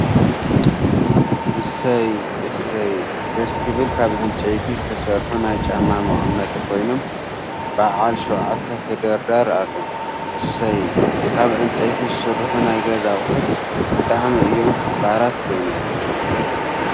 እሰይ !እሰይ !ደስ ክብል ካብ ዕንፃይቲ ዝተሰርሑ ናይ ጫማ መቀመጢ ኮይኖም በዓል 7ተ ተደርዳር ኣሎ። እሰይ ! ካብ ዕንፀቲ ዝስርሑ ናይ ገዛ ኣቁሑት ብጣዕሚ እዮም ክባራት ኮይኖም።